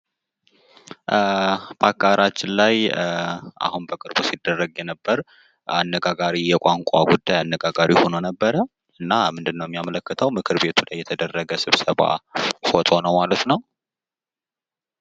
በሀገራችን ላይ አሁን በቅርቡ ሲደረግ የነበር አነጋጋሪ የቋንቋ ጉዳይ አነጋጋሪ ሁኖ ነበረ። እና ምንድን ነው የሚያመለክተው ምክርቤት ላይ የተደረገ ስብሰባ ፎቶ ነው ማለት ነው።